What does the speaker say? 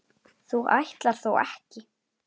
þú ætlar þó ekki.